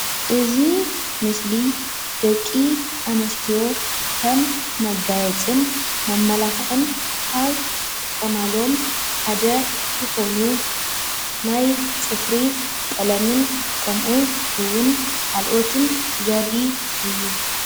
እዚ ምስሊ ደቂ ኣንስትዮ ከም መጋየፅን መመላኽዕን ካብ ዝጥቀማሉን ሓደ ዝኾኑን ናይ ፅፍሪ ቀለምን ከምኡ እዉን ካልኦትን ዘርኢ እዩ፡፡